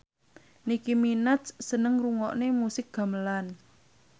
Nicky Minaj seneng ngrungokne musik gamelan